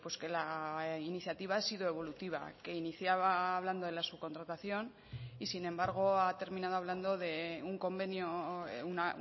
que la iniciativa ha sido evolutiva que iniciaba hablando de la subcontratación y sin embargo ha terminado hablando de un convenio un